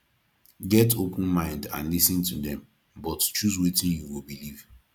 get open mind and lis ten to dem but choose wetin you go believe